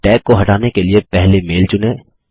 tag को हटाने के लिए पहले मैल चुनें